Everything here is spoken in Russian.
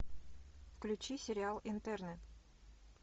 включи сериал интерны